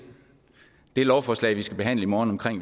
det lovforslag vi skal behandle i morgen